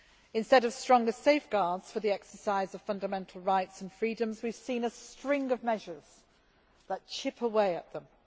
Instead of stronger safeguards for the exercise of fundamental rights and freedoms, we have seen a string of measures that chip away at them.